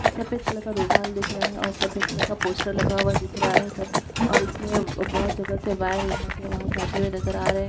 सफ़ेद कलर का रुमाल दिख रहा है और सफ़ेद कलर का पोस्टर लगा हुआ दिख रहा है सब और इसमें बहुत जगह से वायर यहाँ से वहाँ जाते हुए नज़र आ रहे हैं।